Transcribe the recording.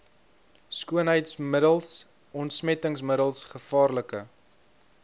skoonheidsmiddels ontsmettingsmiddels gevaarlike